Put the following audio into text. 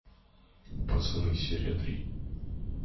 пацаны серия три